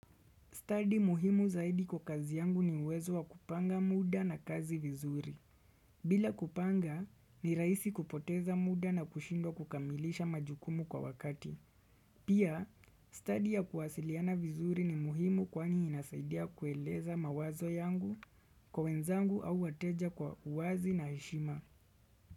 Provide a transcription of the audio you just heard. Study muhimu zaidi kwa kazi yangu ni uwezo wa kupanga muda na kazi vizuri. Bila kupanga, ni rahisi kupoteza muda na kushindwa kukamilisha majukumu kwa wakati. Pia, study ya kuwasiliana vizuri ni muhimu kwani inasaidia kueleza mawazo yangu kwa wenzangu au wateja kwa uwazi na heshima.